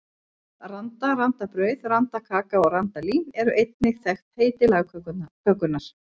Randa, randabrauð, randakaka og randalín eru einnig þekkt heiti lagkökunnar.